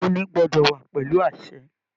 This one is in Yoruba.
Imuni gbọdọ wà pẹlú àṣẹ.